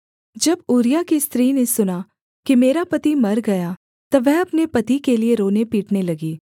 जब ऊरिय्याह की स्त्री ने सुना कि मेरा पति मर गया तब वह अपने पति के लिये रोने पीटने लगी